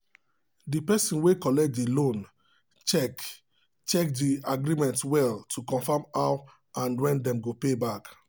the person wey collect the loan check check the agreement well to confirm how and when dem go pay back.